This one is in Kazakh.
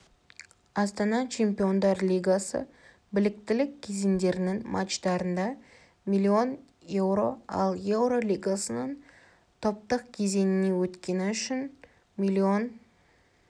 астана чемпиондар лигасы біліктілік кезеңдерінің матчтарында млн еуро ал еуро лигасының топтық кезеңіне өткені үшін млн